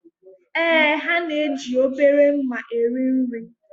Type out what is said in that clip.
Ee, ha na-eji obere mma eri nri